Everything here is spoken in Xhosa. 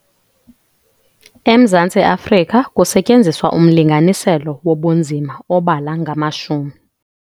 EMzantsi Afrika kusetyenziswa umlinganiselo wobunzima obala ngamashumi.